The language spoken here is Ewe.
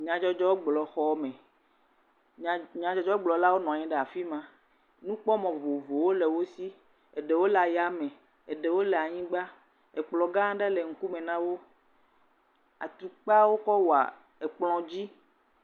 Nyadzɔdzɔgblɔxɔme. Nya nyadzɔdzɔgblɔlawo nɔ anyi ɖe afi ma. Nukpɔmɔ vovovowo le wo si eɖewo le aya me eɖewo le anyigba. Ekplɔ gã aɖe le ŋkume na wo. Atukpawo kɔ wɔ ekplɔ dzi.